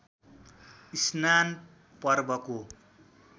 स्नान पर्वको